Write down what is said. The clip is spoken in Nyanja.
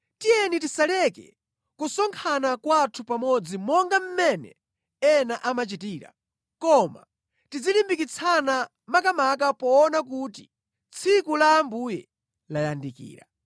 Tiyeni tisaleke kusonkhana kwathu pamodzi monga mmene ena amachitira, koma tizilimbikitsana makamaka poona kuti tsiku la Ambuye layandikira.